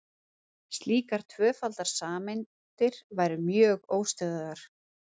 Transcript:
slíkar tvöfaldar sameindir væru mjög óstöðugar